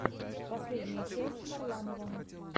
последняя часть варламова